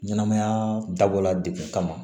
Ɲɛnɛmaya dabɔra dekun kama